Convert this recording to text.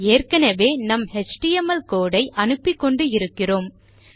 ஏற்கெனெவே நம் HTML code ஐ அனுப்பிக்கொண்டு இருக்கிறோம்